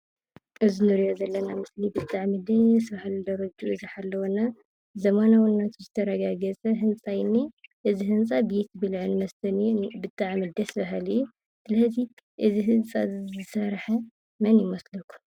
እዚ እንሪኦ ዘለና ምስሊ ብጣዕሚ ደስ ብሃልን ደረጅኡ ዝተሓለወ እና ዘመናዉነቱ ዝተረጋገፀ ህንፃ እዩ እንኤ። እዚ ህንፃ ቤት ብልዕን መስተን እዩ። ብጣዕሚ ደስ ብሃሊ እዩ። ሀዚ እዚ ህንፃ እዚ ዝሰርሐ መን ይመስለኩም?